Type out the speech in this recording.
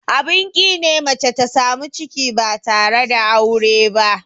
Abin ƙi ne mace ta samu ciki ba tare da aure ba.